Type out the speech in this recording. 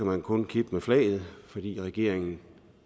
man kun kippe med flaget fordi regeringen